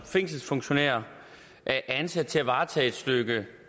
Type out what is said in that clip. fængselsfunktionærer er ansat til at varetage et stykke